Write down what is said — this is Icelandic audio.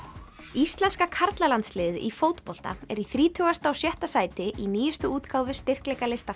íslenska karlalandsliðið í fótbolta er í þrítugasta og sjötta sæti í nýjustu útgáfu styrkleikalista